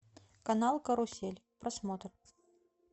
канал карусель просмотр